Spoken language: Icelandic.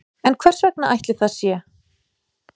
En hvers vegna ætli það sé?